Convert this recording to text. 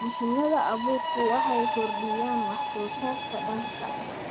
Mashiinada abuurku waxay kordhiyaan wax soo saarka dalagga.